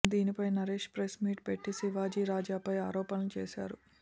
దినిపై Naresh press meet పెట్టి శివాజీ రాజాపై ఆరోపణలు చేశారు